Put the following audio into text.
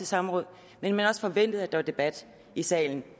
samråd men man har også forventet at der debat i salen